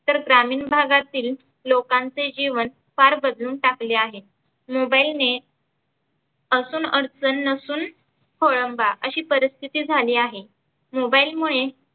तर ग्रामीन भागातील लोकांचे जिवन फार बदलून टाकले आहे. mobile असून अडचन नसून खोळंबा आशी परिस्थीती झाली आहे. mobile मुळे